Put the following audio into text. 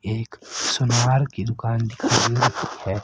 एक सुनार की दुकान दिखाई रही है।